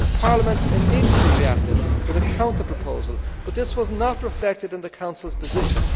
Parliament immediately reacted with a counterproposal, but this was not reflected in the Council's position.